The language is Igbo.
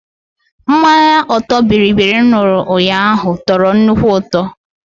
Mmanya ọtọ bịrịbịrị m ṅụrụ ụnyaahụ tọrọ nnukwu ụtọ